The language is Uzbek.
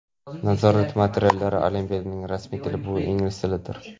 Nazorat materiallari: Olimpiadaning rasmiy tili - bu ingliz tilidir.